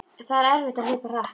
Það var erfitt að hlaupa hratt.